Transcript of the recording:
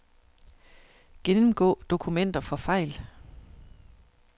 Gennemgå dokumenter for fejl.